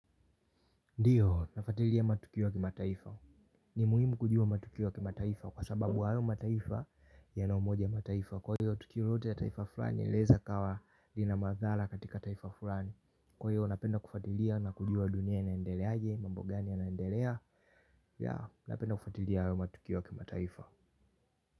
Ndio, nafuatilia matukio ya kimataifa. Ni muhimu kujua matukio kimataifa kwa sababu hayo mataifa yana umoja mataifa. Kwa hiyo, tukio lolote ya taifa fulani linaweza ikawa lina madhara katika taifa fulani. Kwa hivyo, napenda kufatilia na kujua dunia ya inaendeleaje, mambo gani yanaendelea. Yeah, napenda kufatilia matukio ya kimataifa.